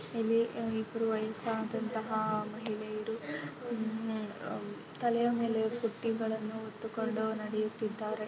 ಇಲ್ಲಿ ಇಬರು ವಯಸದಂತಹ ಮಹಿಳೆಯರು ಆಹ್ಹ್ ತಲೆಯ ಮೇಲೆ ಬುಟ್ಟಿಗಳನ್ನು ಹೊತ್ತುಕೊಂಡು ನಡೆಯುತ್ತಿದ್ದಾರೆ.